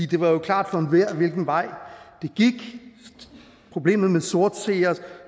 det var jo klart for enhver hvilken vej det gik problemet med sortseere